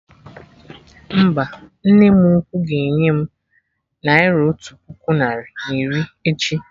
Mba, nne m ukwu ga enye m naira otu puku narị na iri echi